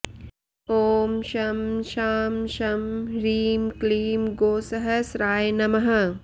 ॐ शं शां षं ह्रीं क्लीं गोसहस्राय नमः